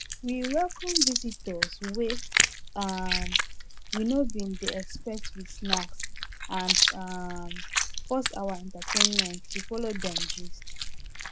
we welcome visitors wey um we no bin dey expect with snacks and um pause our entertainment to follow them gist